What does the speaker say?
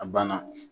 A banna